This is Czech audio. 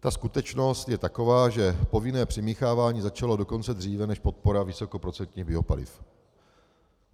Ta skutečnost je taková, že povinné přimíchávání začalo dokonce dříve než podpora vysokoprocentních biopaliv.